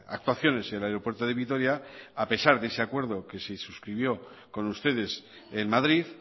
actuaciones el aeropuerto de vitoria a pesar de ese acuerdo que se suscribió con ustedes en madrid